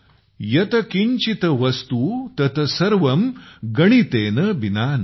यत किंचित वस्तु तत सर्वं गणितेन बिना नहि